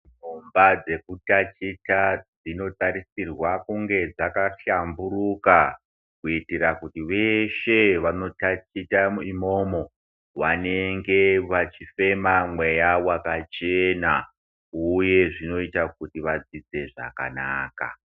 Dzimba dzekutaticha dzinotarisirwa kunge dzakahlamnuruka kuitira kuti vveshe vanotaticha imomo vanenge vachifems mweya wakacherna uye zvinoita kuti vadzidze zvakanaka.